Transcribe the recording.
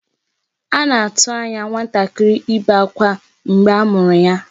A na-atụ anya nwatakịrị ibe akwa mgbe a mụrụ ya.